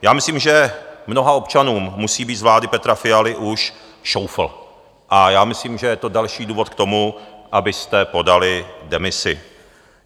Já myslím, že mnoha občanům musí být z vlády Petra Fialy už šoufl, a já myslím, že je to další důvod k tomu, abyste podali demisi.